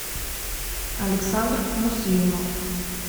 александр муслимов